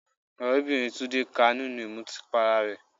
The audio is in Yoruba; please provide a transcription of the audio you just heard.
Ọ̀rẹ́bìnrin Tunde ká a nínú ìmutí para rẹ̀.